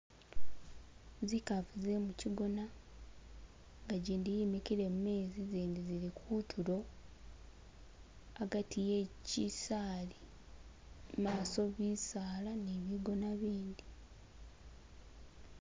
Zikafu ze mu kigona nga jindi yemikile mumezi zindi zili kutulo agati ye kisali imaso bisala ne bigona bindi.